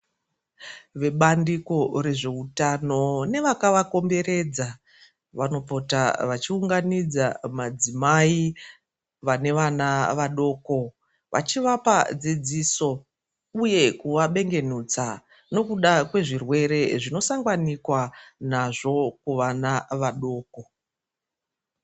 Vebandiko rezveutano nevakavakomberedza vanopota vachiunganidza madzimai vane vana vadoko vachivapa dzidziso uye kuvabengenudza nekuda kwezvirwere zvinosanganikwa nazvo kuvana vadoko.